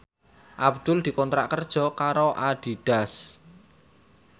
Abdul dikontrak kerja karo Adidas